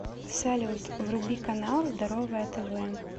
салют вруби канал здоровое тв